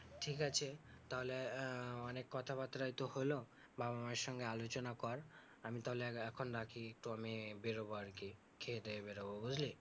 ঠিকআছে তাহলে আহ অনেক কথাবার্তাই তো হলো, বাবা মায়ের সঙ্গে আলোচনা কর। আমি তাহলে আর এখন রাখি তো আমি বেরোবো আরকি খেয়েদেয়ে বেরোব, বুঝলি?